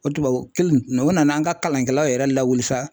O tubabu kelen o nana an ka kalankɛlaw yɛrɛ lawuli sa